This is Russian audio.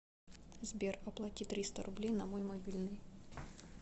сбер оплати триста рублей на мой мобильный